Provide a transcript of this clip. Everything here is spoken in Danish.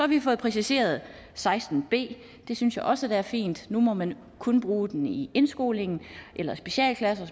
vi fået præciseret seksten b det synes jeg også er fint nu må man kun bruge den i indskolingen eller i specialklasser